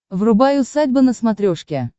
врубай усадьба на смотрешке